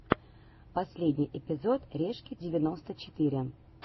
последний эпизод решки девяносто четыре